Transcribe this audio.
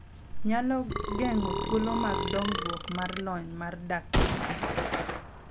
Nyalo geng'o thuolo mag dongruok mar lony mar dak gi ji,